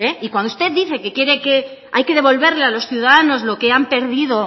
cuando usted dice que hay que devolverle a los ciudadanos lo que han perdido